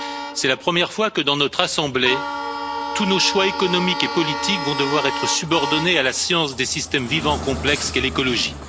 C'est la première fois que, dans notre assemblée, tous nos choix économiques et politiques vont devoir être subordonnés à la science des systèmes vivants complexes qu'est l'écologie.